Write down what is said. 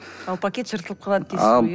ал пакет жыртылып қалады дейсіз ғой иә